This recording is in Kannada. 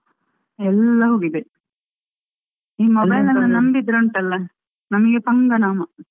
ಎಲ್ಲಾ ಹೋಗಿದೆ ಈ mobile ಅನ್ನು ನಂಬಿದ್ರೆ ಉಂಟಲ್ಲ ನಮಗೆ ಪಂಗನಾಮ.